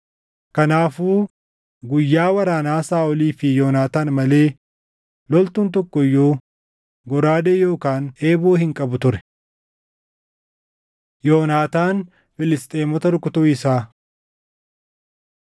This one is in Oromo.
Kanaafuu guyyaa waraanaa Saaʼolii fi Yoonaataan malee loltuun tokko iyyuu goraadee yookaan eeboo hin qabu ture. Yoonaataan Filisxeemota Rukutuu Isaa